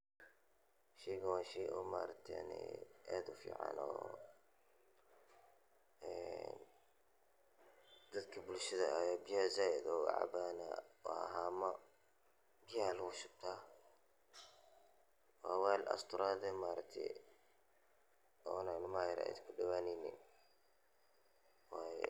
Sheygan waa shey maargtene aad ufican ee dadka bulshaada aya biyaha said oga cabana wana hama biya aya lagu shubtaa waa wel asturad eh maaragta ona ilmaha yar yar ee kudowaneynin waye.